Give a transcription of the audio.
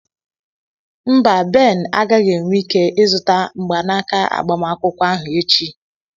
Mba, Ben agaghị enwe ike ịzụta mgbanaka agbamakwụkwọ ahụ echi.